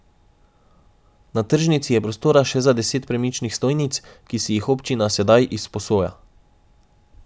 Na tržnici je prostora še za deset premičnih stojnic, ki si jih občina sedaj izposoja.